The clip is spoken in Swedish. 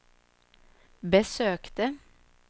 besökte